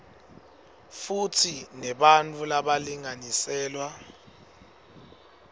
futsi nebantfu labalinganiselwa